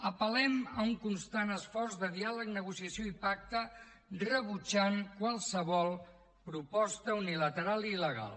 apel·lem a un constant esforç de diàleg negociació i pacte rebutjant qualsevol proposta unilateral i il·legal